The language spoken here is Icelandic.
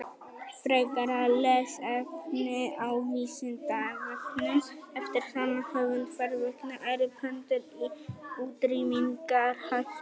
Frekara lesefni á Vísindavefnum eftir sama höfund: Hvers vegna eru pöndur í útrýmingarhættu?